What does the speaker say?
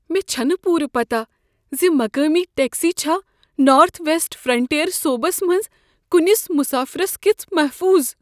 مےٚ چھنہٕ پوٗرٕ پتہ ز مقٲمی ٹیکسی چھا نارتھ ویسٹ فرنٹیئر صوبس منز کُنس مسافِرس کِژھ محفوظ ۔